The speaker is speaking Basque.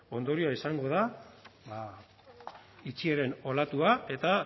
ondorioa izango da itxieren olatua eta